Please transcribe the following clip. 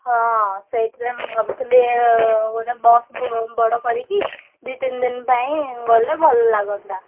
ହଁ ସେଇଥିପାଇଁ ମୁଁ ଭାବୁଥିଲି ଏ ଗୋଟେ bus ବଡ କରିକି ଦି ତିନି ଦିନି ପାଇଁ ଗଲେ ଭଲ ଲାଗନ୍ତା।